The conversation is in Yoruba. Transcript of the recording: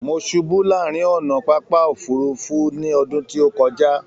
Mó ṣubu láàrin ọnà pápá òfurùnfu tilẹ ní ọdún tí o kọja